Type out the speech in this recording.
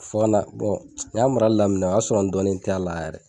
Fo kana ne y'a marali daminɛ o y'a sɔrɔ n dɔnnen t'a la yɛrɛ.